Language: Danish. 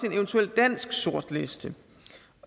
en eventuel dansk sortliste